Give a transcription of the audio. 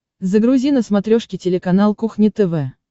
загрузи на смотрешке телеканал кухня тв